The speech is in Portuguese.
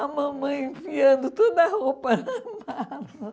A mamãe enfiando toda a roupa na mala.